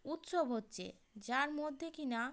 উৎসব হচ্ছে যার মধ্যে কিনা।